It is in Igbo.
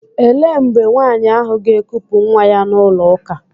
Ele mgbe nwaanyị ahụ ga-ekupu nwa ya n'ụlọ ụka?